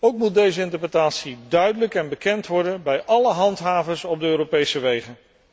Ook moet deze interpretatie duidelijk en bekend worden bij alle handhavers op de Europese wegen.